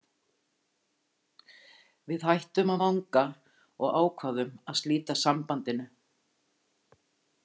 Við hættum að vanga og ákváðum að slíta sambandinu.